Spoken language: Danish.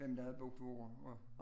Hvem der havde boet på hvor